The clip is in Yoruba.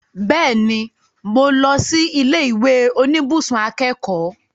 Bẹ́ẹ̀ni, mo lọ sí ilé ìwé oníbùsùn akẹ́kọ̀ọ́